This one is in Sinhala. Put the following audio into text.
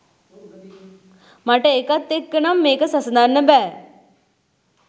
මට ඒකත් එක්කනම් මේක සසඳන්න බැ.